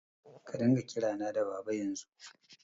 Ka dinga kirana da Baba yanzu!